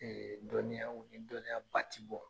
Ɛɛ dɔniya dɔniya ba ti bɔ.